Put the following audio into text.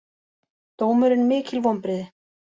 Dómurinn mikil vonbrigði